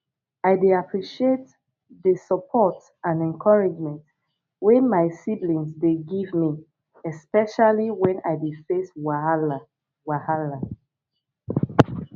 i dey appreciate dey support and encouragement wey my siblings dey give me especially when i dey face wahala wahala